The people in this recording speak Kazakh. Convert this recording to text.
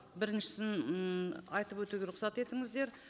біріншісін ммм айтып өтуге рұқсат етіңіздер